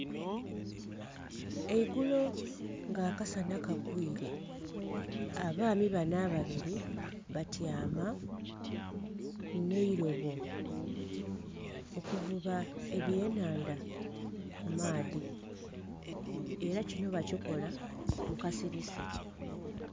Eigulo nga akasana kagwiire abaami bano ababiri batyama n'erobo okuvuba eby'enhandha ku maadhi era kino bakikola mukasirise.